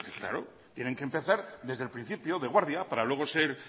claro tienen que empezar desde el principio de guardia para luego ser